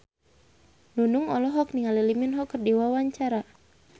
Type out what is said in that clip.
Nunung olohok ningali Lee Min Ho keur diwawancara